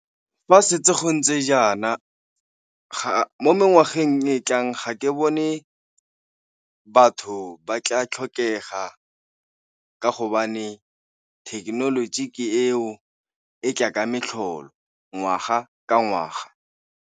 Fa setse go ntse jaana, mo ngwageng e tlang ga ke bone batho ba tla tlhokega ka gobane thekenoloji ke eo e tla ka metlholo ngwaga ka ngwaga.